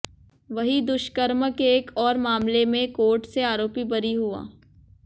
वहीं दुष्कर्म के एक और मामले में कोर्ट से आरोपी बरी हुआ